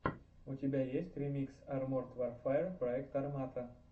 у тебя есть ремикс арморд варфэер проект армата